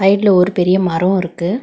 சைடுல ஒரு பெரிய மரோ இருக்கு.